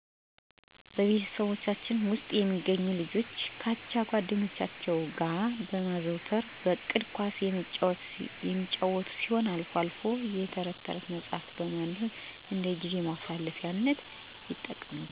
በቤተሰቦቻችን ውስጥ የሚገኙ ልጆች ከአቻ ጓደኞቻቸው ጋር በማዘውተር በእቅድ ኳስ የሚጫወቱ ሲሆን አልፎ አልፎም የተረት መጽሐፎችን ማንበብ እንደጊዜ ማሳለፊያነት ይጠቀሙበታል።